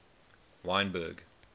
wynberg